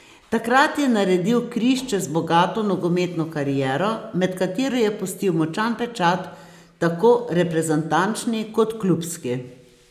Takrat je naredil križ čez bogato nogometno kariero, med katero je pustil močan pečat, tako reprezentančni kot klubski.